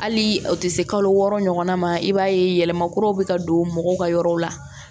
Hali o tɛ se kalo wɔɔrɔ ɲɔgɔnna ma i b'a ye yɛlɛma kuraw bɛ ka don mɔgɔw ka yɔrɔ la